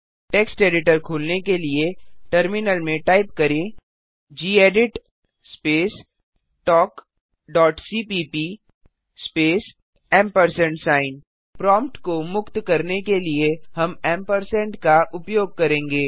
text editor खोलने के लिए टर्मिनल में टाइप करें gedit space talk dot cpp space ampersand sign prompt को मुक्त करने के लिए हम का उपयोग करेंगे